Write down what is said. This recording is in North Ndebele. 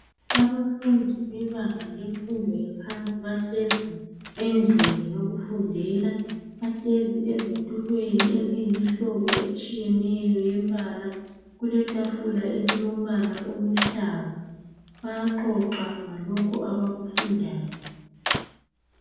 Abafundi bebanga lemfundo ephansi bahlezi endlini yokufundela, bahlezi ezitulweni eziyimihlobo etshiyeneyo yembala, kuletafula elilombala oluhlaza bayaxoxa ngalokho abakufundayo.